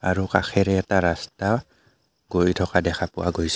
আৰু কাষেৰে এটা ৰাস্তা গৈ থকা দেখা পোৱা গৈছে।